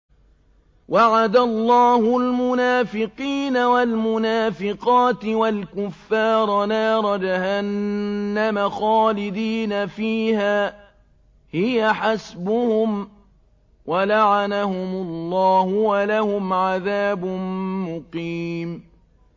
وَعَدَ اللَّهُ الْمُنَافِقِينَ وَالْمُنَافِقَاتِ وَالْكُفَّارَ نَارَ جَهَنَّمَ خَالِدِينَ فِيهَا ۚ هِيَ حَسْبُهُمْ ۚ وَلَعَنَهُمُ اللَّهُ ۖ وَلَهُمْ عَذَابٌ مُّقِيمٌ